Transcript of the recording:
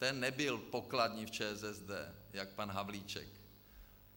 Ten nebyl pokladní v ČSSD jak pan Havlíček.